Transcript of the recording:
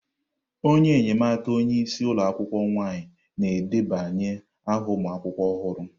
Onye enyemaka onye isi ụlọ akwukwuo nwaanyị na-edebanye aha ụmụ akwụkwọ ọhụrụ.